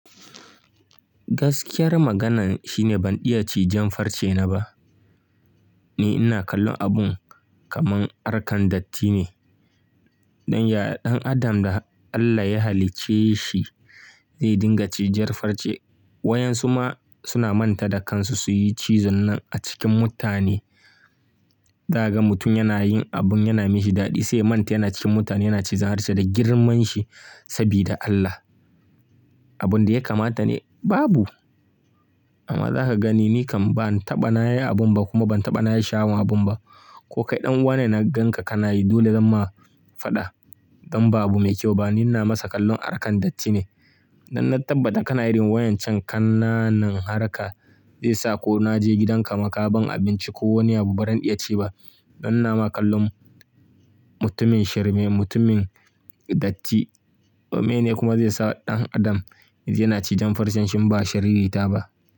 Gaskiyar maganan shine ban iya ci jan farce na ba. Ni ina kallon abun kaman arkan datti ne. Dan ya-- dan Adam da Allah ya halicce shi zai dinga ci jar farce. Wayan su ma suna manta da kansu su yi cizon nan a cikin mutane. Za ka ga mutum yana yin abun yana mashi shi daɗi sai ya manta yana cikin mutane yana cizon harshe da girman shi sabida Allah. Abun da ya kamata ne babu. Amma za ka gani ni kam ban taɓa na yi abun ba kuma ban taɓa na yi sha, awan abun ba. Ko kai ɗan wane na ganka kanayi dole zan ma faɗa. Dan babu mai kyau ba ni na masa kallon arkan datti ne. Dan na tabbata kana yirin wayan can kannanan harka. Zai sa ko na je gidan ka maka ban abinci ko wani abu baran zan iya ci ba. Dan ina ma kallon mutumin shirme, mutumin datti. Meyene kuma zai sa ɗan Adam yana ci jan farce shin ba shirita ba.